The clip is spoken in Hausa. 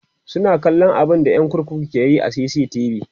suna kallan abunda ƴan kurkukun ke Yi a CCTV